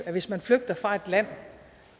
at man hvis man flygter fra et land